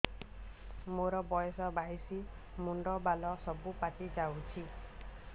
ମୋର ବୟସ ବାଇଶି ମୁଣ୍ଡ ବାଳ ସବୁ ପାଛି ଯାଉଛି